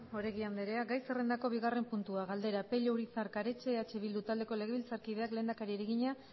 oregi andrea gai zerrendako bigarren puntua galdera pello urizar karetxe eh bildu taldeko legebiltzarkideak lehendakariari egina